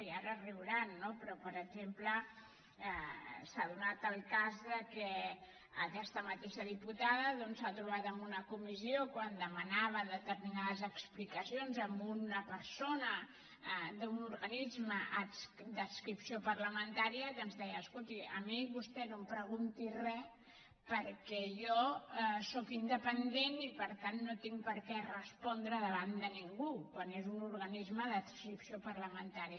i ara riuran no però per exemple s’ha donat el cas que aquesta mateixa diputada doncs s’ha trobat en una comissió quan demanava determinades explicacions a una persona d’un organisme d’adscripció parlamentària que ens deia escolti a mi vostè no em pregunti re perquè jo sóc independent i per tant no tinc per què respondre davant de ningú quan és un organisme d’adscripció parlamentària